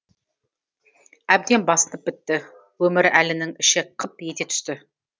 әбден басынып бітті өмірәлінің іші қып ете түсті